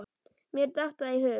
Mér datt það í hug.